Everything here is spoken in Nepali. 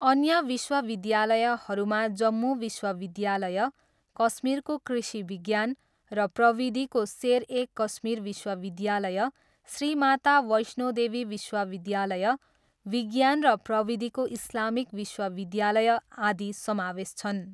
अन्य विश्वविद्यालयहरूमा जम्मू विश्वविद्यालय, कश्मीरको कृषि विज्ञान र प्रविधिको सेर ए कश्मीर विश्वविद्यालय, श्री माता वैष्णो देवी विश्वविद्यालय, विज्ञान र प्रविधिको इस्लामिक विश्वविद्यालय, आदि समावेश छन्।